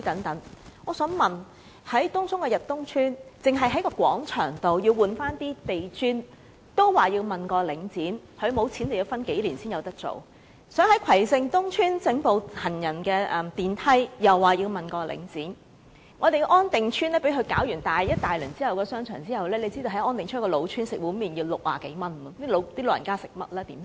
但是，以東涌的逸東邨為例，居民要求更換廣場地磚，卻要請示領展，領展表示沒有資金，要等數年才能做；又例如葵盛東邨居民要求安裝行人電梯，也要請示領展；安定邨的商場被領展進行大規模裝修後，現時在那個老屋邨吃一碗麪要60多元，試問長者如何能負擔得起？